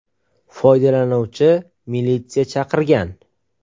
Foydalanuvchi militsiya chaqirgan.